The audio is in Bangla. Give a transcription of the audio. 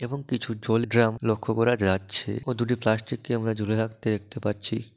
এবং কিছু জল ড্রাম লক্ষ্য করা যাচ্ছে ও দুটি প্লাষ্টিককে আমরা ঝুলে থাকতে দেখতে পাচ্ছি।